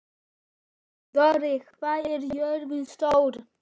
Dóri, hvað er jörðin stór?